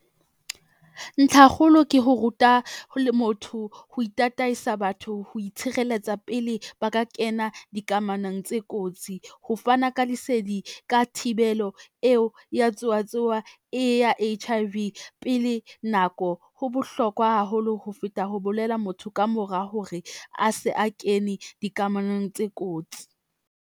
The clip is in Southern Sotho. Ntlhakgolo ke ho ruta ho le motho ho tataisa batho ho itshireletsa pele ba ka kena dikamanong tse kotsi. Ho fana ka lesedi ka thibelo eo ya tsowa tsowa e ya H_I_V pele nako, ho bohlokwa haholo ho feta ho bolela motho ka mora hore a se a kene dikamanong tse kotsi.